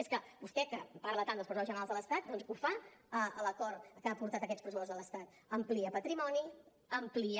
és que vostè que parla tant dels pressupostos generals de l’estat doncs ho fa a l’acord que ha portat aquests pressupostos de l’estat amplia patrimoni amplia